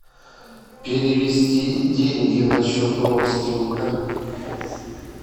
перевести деньги на счет родственника